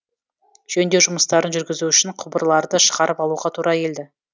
жөндеу жұмыстарын жүргізу үшін құбырларды шығарып алуға тура келді